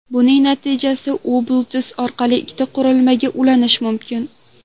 Buning natijasida u Bluetooth orqali ikkita qurilmaga ulanishi mumkin.